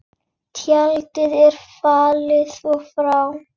Tjaldið er fallið og frá.